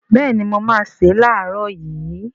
Béèni mo máá se lààrọ̀ yii